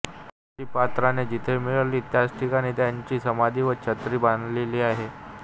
त्यांची पादत्राणे जिथे मिळाली त्याच ठिकाणी त्यांची समाधी व छत्री बांधलेली आहे